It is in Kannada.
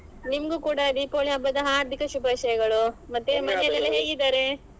ನಿಮ್ಗೂ ಕೂಡ ದೀಪಾವಳಿ ಹಬ್ಬದ ಹಾರ್ದಿಕ ಶುಭಾಶಯಗಳು ಮತ್ತೆ ಮನೆಲೆಲ್ಲಾ ಹೇಗಿದ್ದಾರೆ?